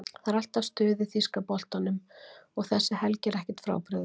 Það er alltaf stuð í þýska boltanum og þessi helgi er ekkert frábrugðin.